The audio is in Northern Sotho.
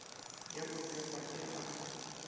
ya go fepa e a